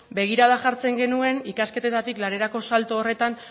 begirada jartzen genuen ikasketetatik lanerako salto horretan